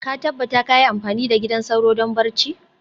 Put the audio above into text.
ka tabbata kayi amfani da gidan sauro don barci.